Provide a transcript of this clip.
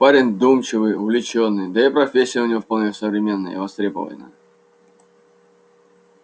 парень вдумчивый увлечённый да и профессия у него вполне современная и востребованная